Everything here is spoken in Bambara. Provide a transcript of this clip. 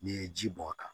N'i ye ji bɔn a kan